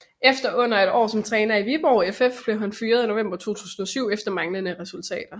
Efter under et år som træner i Viborg FF blev han fyret i november 2007 efter manglende resultater